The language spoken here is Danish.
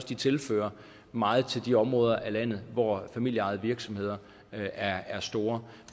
de tilfører meget til de områder af landet hvor familieejede virksomheder er er store